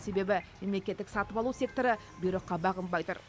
себебі мемлекеттік сатып алу секторы бұйрыққа бағынбай тұр